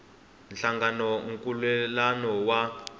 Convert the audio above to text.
nhlangano na nkhulukelano wa